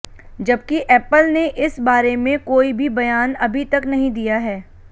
जबकि एपल ने इस बारें में कोई भी बयान अभी तक नहीं दिया है